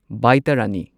ꯕꯥꯢꯇꯥꯔꯥꯅꯤ